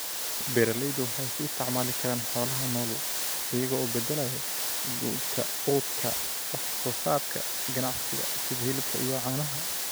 Beeralaydu waxay ku isticmaali karaan xoolaha nool iyagoo u beddelaya quudka wax soo saarka ganacsiga sida hilibka iyo caanaha.